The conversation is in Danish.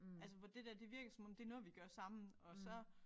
Altså hvor det der det virker som om det noget vi gør sammen og så